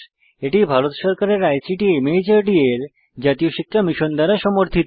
এটি ভারত সরকারের ICT MHRD এর জাতীয় শিক্ষা মিশন দ্বারা সমর্থিত